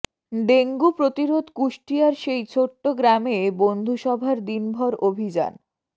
dengue প্রতিরোধ কুষ্টিয়ার সেই ছোট্ট গ্রামে বন্ধুসভার দিনভর অভিযান